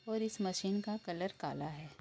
और इस मशीन का कलर काला है।